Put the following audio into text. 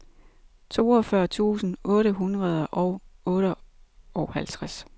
toogfyrre tusind otte hundrede og otteoghalvtreds